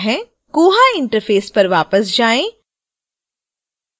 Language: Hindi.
koha interface पर वापस जाएँ